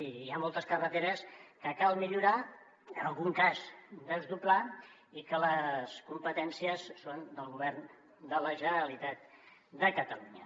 i hi ha moltes carreteres que cal millorar en algun cas desdoblar i que les competències són del govern de la generalitat de catalunya